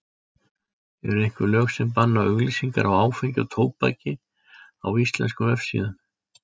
Eru einhver lög sem banna auglýsingar á áfengi og tóbaki á íslenskum vefsíðum?